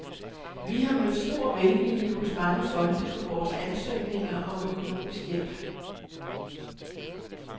Vi har mødt stor velvilje hos mange fonde på vores ansøgninger om økonomisk hjælp.